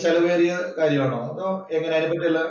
ചെലവേറിയ കാര്യമാണോ? അതോ എങ്ങനെ അതിനെ പറ്റി വല്ല